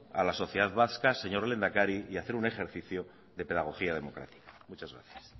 a la sociedad vasca señor lehendakari y hacer un ejercicio de pedagogía democrática muchas gracias